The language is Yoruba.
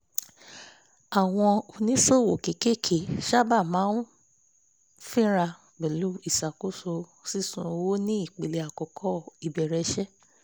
àwọn oníṣòwò kékeré sábà máa ń fínra pẹ̀lú iṣakoso sísún owó ní ìpele àkọ́kọ́ ìbẹ̀rẹ̀ iṣẹ́